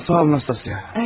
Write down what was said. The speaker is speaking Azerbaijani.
Sağ ol, Nastasya.